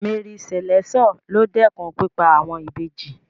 Mary Slessor ló dẹ́kun pípa àwọn Ìbejì.